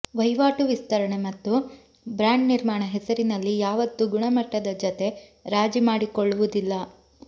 ವಹಿವಾಟು ವಿಸ್ತರಣೆ ಮತ್ತು ಬ್ರಾಂಡ್ ನಿರ್ಮಾಣ ಹೆಸರಿನಲ್ಲಿ ಯಾವತ್ತೂ ಗುಣಮಟ್ಟದ ಜತೆ ರಾಜಿ ಮಾಡಿಕೊಳ್ಳುವುದಿಲ್ಲ